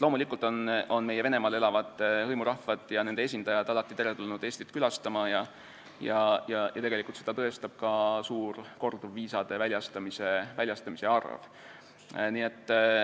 Loomulikult on meie Venemaal elavad hõimurahvad ja nende esindajad alati teretulnud Eestit külastama, seda tõestab ka suur korduvviisade arv.